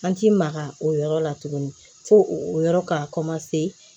An ti maga o yɔrɔ la tuguni fo o yɔrɔ ka